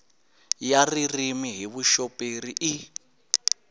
ya ririmi hi vuxoperi i